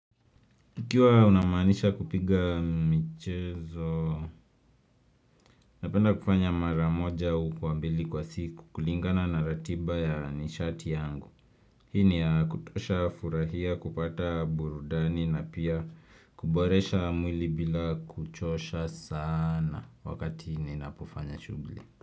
Ikiwa unamaanisha kupiga michezo, napenda kufanya maramoja au kwa mbili kwa siku kulingana na ratiba ya nishati yangu. Hii ni ya kutosha furahia kupata burudani na pia kuboresha mwili bila kuchosha sana wakati ninapofanya shughli.